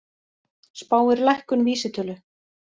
Spáir lækkun vísitölu